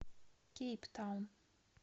кейптаун